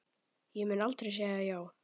Ég mun aldrei segja já.